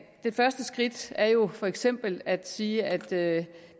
det første skridt er jo for eksempel at sige at at